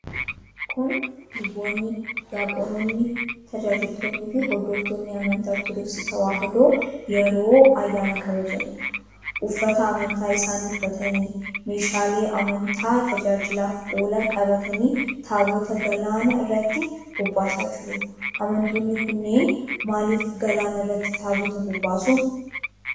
Kun luboonni, diyaaqunoonni, tajaajiltoonniifi hordoftoonni amantaa Ortodoksii Tewaahidoo yeroo ayyaana kabajaniidha. Uffata amantaa isaanii uffatanii, meeshaalee amantaa tajaajilaaf oolan qabatanii taabota galaana irratti bobbaasaa jiru. Amantoonni kunneen maaliif galaana irratti taabota bobbaasu?